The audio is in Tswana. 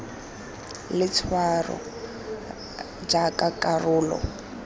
le letshwao r jaaka karolo